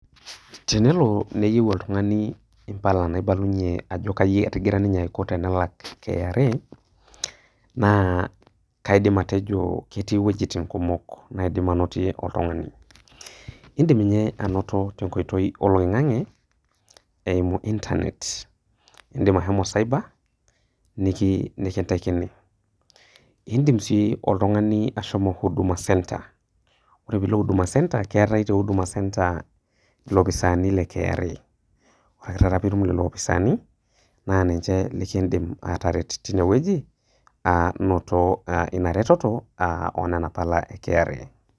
Tenelo neyou oltung'ani Impala naibalunye ajo ketigire ninye aiko tenelak KRA naa kaidim atejo ketii inwuetin kumok naidim ainotie oltung'ani. Indim ninye ainoto tenkoitoi oloing'ang'e, eimu internet eimu internet nekintakini. Indim sii oltung'ani ashomo Huduma Center ore pee ilo Huduma Center keatai te Huduma center iloopisaini le KRA naa ninche lekindim ataret teine wueji pee itum ainoto Ina retoto oo Nena pala e KRA.